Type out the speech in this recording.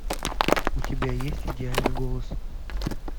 у тебя есть идеальный голос